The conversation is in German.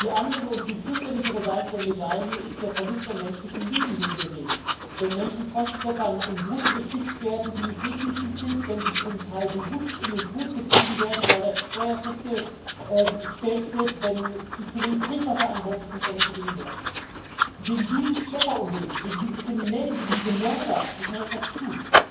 Die andere und viel fürchterlichere Seite der Medaille ist der Verlust an menschlichem Leben, den wir sehen wenn Menschen von Schleppern in Boote geschickt werden, die nicht seetüchtig sind, wenn sie zum Teil bewusst in den Tod getrieben werden, weil das Steuer festgestellt wird, wenn zu wenig Trinkwasser an Bord ist und ähnliche Dinge mehr. Gegen dieses Schlepperunwesen, gegen diese Kriminellen, gegen diese Mörder muss man etwas tun.